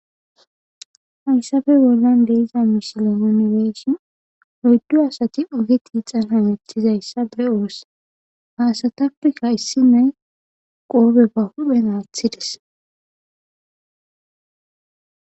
Hayssafe bollan de'iza misile nuni be'ishin oyddu asati oge tiixana hemetizayssa be'oos hayssatappekka issinoye qoobe ba huphen aathides.